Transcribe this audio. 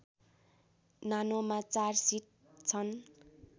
नानोमा चार सिट छन्